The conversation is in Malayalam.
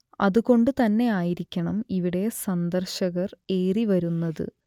അത് കൊണ്ട് തന്നെ ആയിരിക്കണം ഇവിടെ സന്ദർശകർ ഏറിവരുന്നത്